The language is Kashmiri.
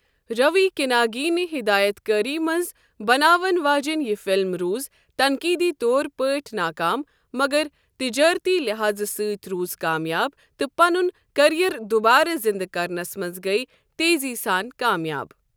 روی کنیگی نہِ ہِدایت کٲری منٛز بناوَن واجیٚنۍ یہِ فِلم روٗز تنقیدی طور پٲٹھۍ ناکام، مگر تجٲرتی لحاظٕ سۭتۍ روٗز کامیاب تہٕ پنُن کیریئر دُوبارٕ زِندٕ کرنَس منٛز گٔیہِ تیٖزی سان کامیاب۔